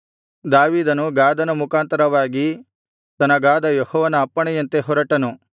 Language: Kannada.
ದಾವೀದನು ಗಾದನ ಮುಖಾಂತರವಾಗಿ ತನಗಾದ ಯೆಹೋವನ ಅಪ್ಪಣೆಯಂತೆ ಹೊರಟನು